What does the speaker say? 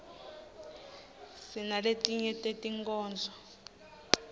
sinaletinye tetinkhondlo